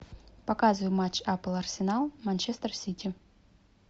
показывай матч апл арсенал манчестер сити